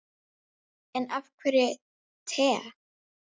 En af hverju te?